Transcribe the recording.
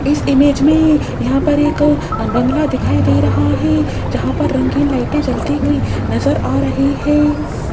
इस इमेज में यहां पर एक बंगला दिखाई दे रहा है जहां पर रंगीन लाइटे जलती हुई नजर आ रही है।